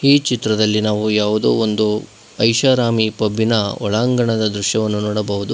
ಈ ಚಿತ್ರದಲ್ಲಿ ನಾವು ಯಾವುದೋ ಒಂದು ಐಷಾರಾಮಿ ಪಬ್ಬಿ ನ ಒಳಾಂಗಣ ನೋಡಬಹುದು.